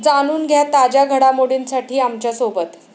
जाणून घ्या ताज्या घडामोडींसाठी आमच्यासोबत.